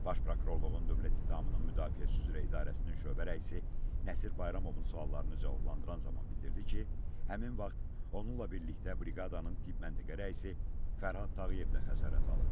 Baş prokurorluğun dövlət ittihamının müdafiəçisi üzrə idarəsinin şöbə rəisi Nəsir Bayramovun suallarını cavablandıran zaman bildirdi ki, həmin vaxt onunla birlikdə briqadanın tibb məntəqə rəisi Fərhad Tağıyev də xəsarət alıb.